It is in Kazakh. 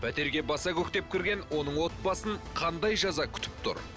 пәтерге баса көктеп кірген оның отбасын қандай жаза күтіп тұр